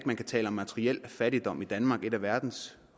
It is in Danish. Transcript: man kan tale om materiel fattigdom i danmark et af verdens